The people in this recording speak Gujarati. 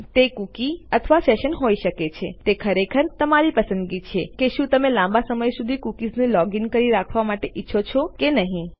તે કૂકી હોઇ શકે છે તે સેશન હોઇ શકે છે તે ખરેખર તમારી પસંદગીની છે કે શું તમે લાંબા સમય સુધી યુઝરને લોગીન કરી રાખવા માટે ઈચ્છો છો કે નહી